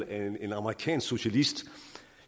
af en amerikansk socialist